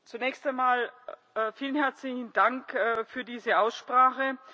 Zunächst einmal vielen herzlichen Dank für diese Aussprache.